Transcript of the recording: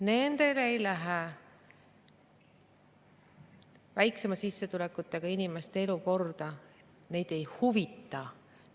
Nendele ei lähe väiksema sissetulekuga inimeste elu korda, neid ei huvita.